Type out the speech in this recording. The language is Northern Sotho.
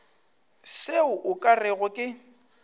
seo o ka rego ke